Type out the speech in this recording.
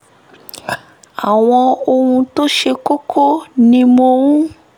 àwọn ohun tó ṣe kókó ni mò ń